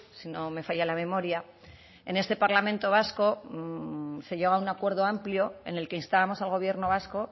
si no me falla la memoria en este parlamento vasco se llega a un acuerdo amplio en el que instábamos al gobierno vasco